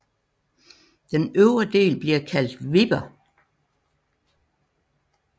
Den øvre del bliver kaldt Wipper